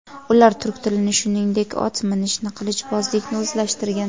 Ular turk tilini, shuningdek, ot minishni, qilichbozlikni o‘zlashtirgan.